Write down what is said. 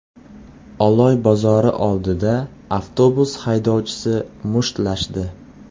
Oloy bozori oldida avtobus haydovchisi mushtlashdi .